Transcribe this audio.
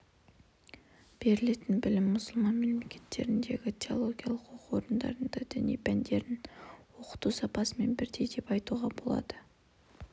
берілетін білім мұсылман мемлекеттеріндегі теологиялық оқу орындарының діни пәндерін оқыту сапасымен бірдей деп айтуға болады